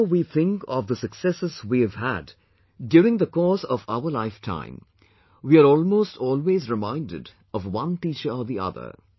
Whenever we think of the successes we have had during the course of our lifetime, we are almost always reminded of one teacher or the other